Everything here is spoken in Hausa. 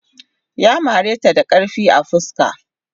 Ya mare ta da karfi a fuska.